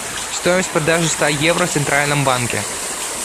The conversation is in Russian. стоимость продажи ста евро в центральном банке